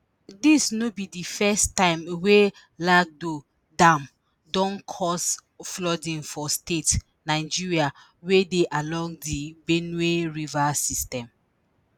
dis no be di first time wey lagdo dam don dey cause flooding for states nigeria wey dey along di benue river system.